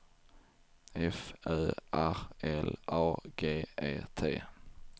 F Ö R L A G E T